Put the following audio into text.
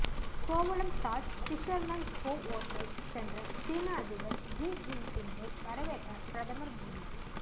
Kovalam Taj fisherman cove hotel சென்ற சீன அதிபர் ஜி ஜின்பிங்கை வரவேற்றார் பிரதமர் மோடி